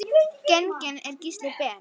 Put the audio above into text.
Genginn er Gísli Ben.